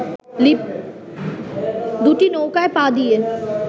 দুটি নৌকায় পা দিয়ে